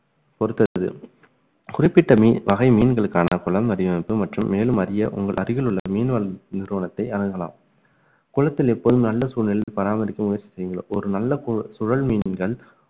பொறுத்தது குறிப்பிட்ட மீ~ வகை மீன்களுக்கான குளம் வடிவமைப்பு மற்றும் மேலும் அறிய உங்கள் அருகில் உள்ள மீன்வள நிறுவனத்தை அணுகலாம் குளத்தில் எப்போதும் நல்ல சூழ்நிலையில் பராமரிக்க முயற்சி செய்ய ஒரு நல்ல சுழல் மீன்கள்